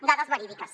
dades verídiques